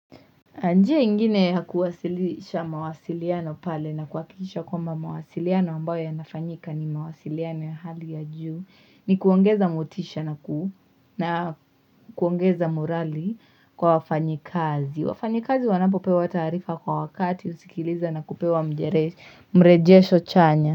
Njia ingine ya kuwasilisha mawasiliano pale na kuhakikisha kwamba mawasiliano ambayo yanafanyika ni mawasiliano ya hali ya juu. Ni kuongeza motisha na ku na kuongeza morali kwa wafanyakazi. Wafanyikazi wanapopewa taarifa kwa wakati husikiliza na kupewa mrejesho chanya.